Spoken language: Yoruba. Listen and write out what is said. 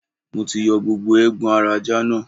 Mo ti yọ gbogbo eegbon ara ajá náà.